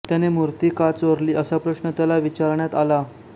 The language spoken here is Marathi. त्याने मूर्ती का चोरली असा प्रश्न त्याला विचारण्यात आला